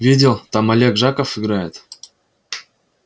видел там олег жаков играет